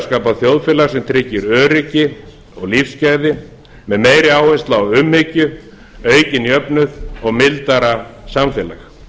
skapa þjóðfélag sem tryggir öryggi og lífsgæði með meiri áherslu á umhyggju aukinn jöfnuð hag mildara samfélag